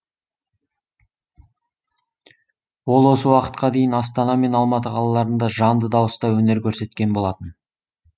ол осы уақытқа дейін астана мен алматы қалаларында жанды дауыста өнер көрсеткен болатын